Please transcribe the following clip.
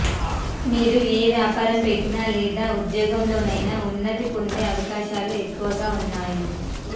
మీరు ఏ వ్యాపారం పెట్టినా లేదా ఉద్యోగంలోనైనా ఉన్నతిని పొందే అవకాశాలు ఎక్కువగా ఉన్నాయి